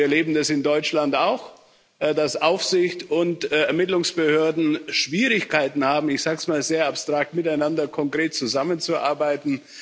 Wir erleben das in Deutschland auch, dass Aufsicht und Ermittlungsbehörden Schwierigkeiten haben ich sage es mal sehr abstrakt miteinander konkret zusammenzuarbeiten.